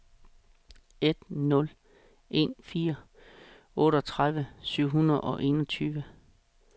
en nul en fire otteogtredive syv hundrede og enogtyve